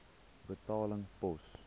betaling pos